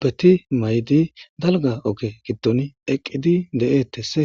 beti maydi dalga oge giddon eqqidi de7eettese